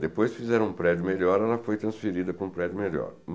Depois fizeram um prédio melhor, ela foi transferida para um prédio melhor.